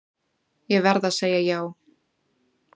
Ég verð að segja já.